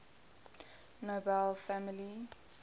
nobel family